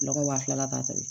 Lɔgɔ wa fila ta bi